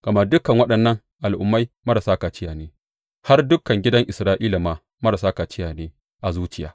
Gama dukan waɗannan al’ummai marasa kaciya ne, har dukan gidan Isra’ila ma marasa kaciya ne a zuciya.